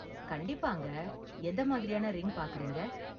கண்டிப்பாங்க, எந்த மாதிரியான ரிங் பார்க்கறீங்க?